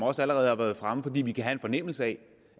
også allerede har været fremme for vi kan have en fornemmelse af